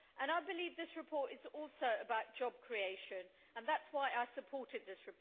I believe this report is also about job creation, and that is why I supported it.